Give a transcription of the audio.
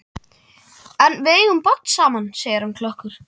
En við eigum barn saman, segir hann klökkur.